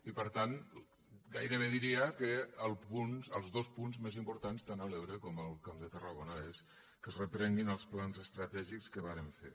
i per tant gairebé diria que els dos punts més importants tant a l’ebre com al camp de tarragona és que es reprenguin els plans estratègics que vàrem fer